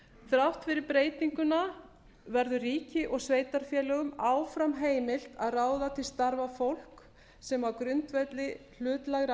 þrátt fyrir breytinguna verður ríki og sveitarfélögum áfram heimilt að ráða til starfa fólk sem á grundvelli hlutlægra